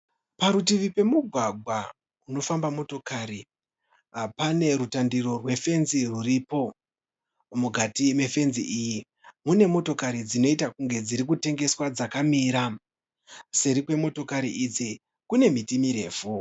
Parutivi pemugwagwa unofamba motokari panerutandiro rwefenzi ruripo mukati mefenzi iyi mune motokari dzinoita kunge dzirikutengeswa dzakamira seri kwemotokari idzi kune miti mirefu